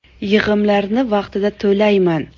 Yig‘imlarni vaqtida to‘layman.